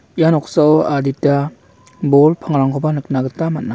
ia noksao adita bol pangrangko ba nikna gita man·a.